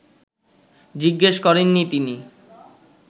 জিজ্ঞেস করেননি তিনি